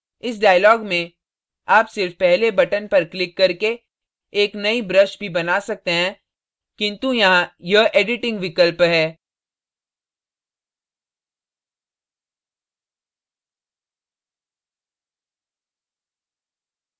इस dialog में आप सिर्फ पहले बटन पर क्लिक करके एक नई brush भी बना सकते हैं किन्तु यहाँ यह editing विकल्प है